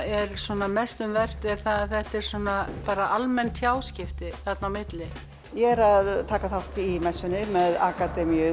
er mest um vert er að þetta eru almenn tjáskipti þarna á milli ég er að taka þátt í messunni með akademíu